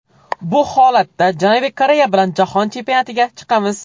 Bu holatda Janubiy Koreya bilan jahon chempionatiga chiqamiz.